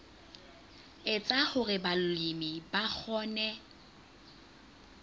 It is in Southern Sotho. etsa hore balemi ba kgone